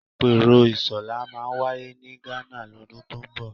Àpérò ISOLA máa wáyé ní Ghana lọ́dún tó ń bọ̀